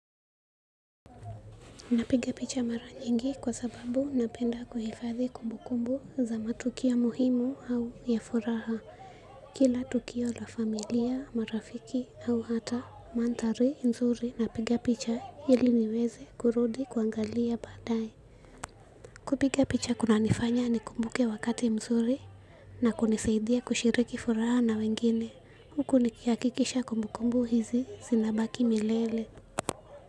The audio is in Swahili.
Napiga picha mara nyingi kwa sababu napenda kuhifadhi kumbu kumbu za matukio muhimu au ya furaha kila tukio la familia marafiki au hata manthari mzuri napiga picha ili niweze kurudi kuangalia badaaye. Kupiga picha kunanifanya ni kumbuke wakati mzuri na kunisaidia kushiriki furaha na wengine huku nikihakikisha kumbu kumbu hizi zinabaki milele.